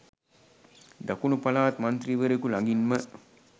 දකුණු පළාත් මන්ත්‍රීවරයකු ළඟින්ම